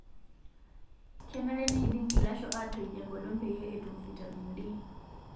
Kenare neidim ilasho atoij enkolong' peyie etum fitamin D.